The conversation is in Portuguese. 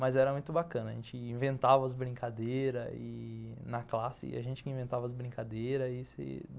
Mas era muito bacana, a gente inventava as brincadeiras ih... na classe, e a gente que inventava as brincadeiras.